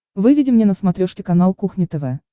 выведи мне на смотрешке канал кухня тв